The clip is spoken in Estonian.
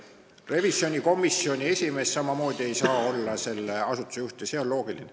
Revisjonikomisjoni esimees ei saa samamoodi olla selle asutuse juht ja see on loogiline.